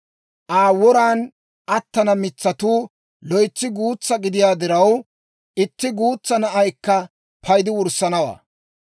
Aa woran attana mitsatuu loytsi guutsaa gidiyaa diraw, itti guutsaa na'aykka paydi wurssanawaa.